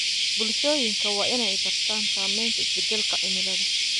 Bulshooyinka waa in ay bartaan saameynta isbedelka cimilada.